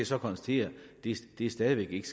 så konstatere stadig væk ikke